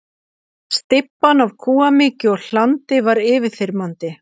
Stybban af kúamykju og hlandi var yfirþyrmandi.